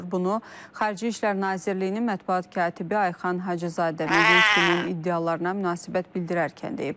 Bunu Xarici İşlər Nazirliyinin mətbuat katibi Ayxan Hacızadə Medinskinin iddialarına münasibət bildirərkən deyib.